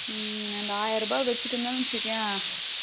இந்த ஆயிரருபாய வச்சிட்டு இருந்தோம்னு வச்சிகோயே